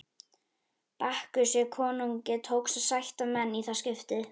Bakkusi konungi tókst að sætta menn í það skiptið.